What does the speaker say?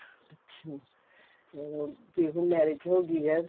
ਅੱਛਾ ਚਲੋਂ ਵੀ ਹੁਣ marriage ਹੋ ਗਈ ਏ